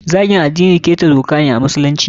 Zagin addini ƙeta doka ne a musulunci.